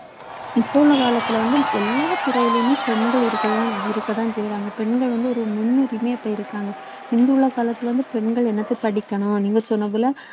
இப்போ உள்ள காலத்துல வந்து எல்லா துறையிலுமே பெண்கள் இருக்கத்தான் இருக்கத்தான் செய்றாங்க பெண்கள் வந்து ஒரு முன்னுரிமையா இப்ப இருக்காங்க முந்தி உள்ள காலத்துல வந்து பெண்கள் என்னத்தை படிக்கணும் நீங்க சொன்னதுல